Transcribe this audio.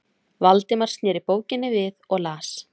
Valdimar sneri bókinni við og las